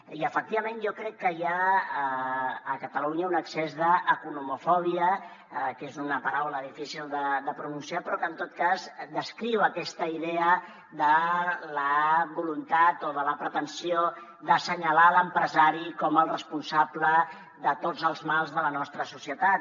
i efectivament jo crec que hi ha a catalunya un excés d’economofòbia que és una paraula difícil de pronunciar però que en tot cas descriu aquesta idea de la voluntat o de la pretensió d’assenyalar l’empresari com el responsable de tots els mals de la nostra societat